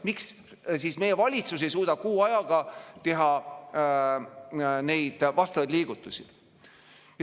Miks siis meie valitsus ei suuda kuu ajaga teha vastavaid liigutusi?